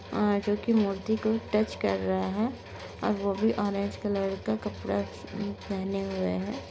जो कि मूर्ति को टच कर रहे है और वो भी ऑरेंज कलर का कपड़ा पहने हुए है।